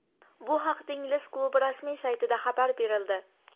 Bu haqida ingliz klubi rasmiy saytida xabar berildi.